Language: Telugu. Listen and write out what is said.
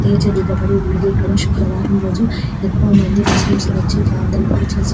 తీర్చిదిద్దబడి ఉంది ఇక్కడ శుక్రవారం రోజు ఎక్కువ మంది ముస్లిం లు వచ్చి ప్రార్థనలు చేసు --